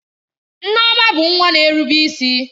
Nneoma bụ nwa na-erube isi.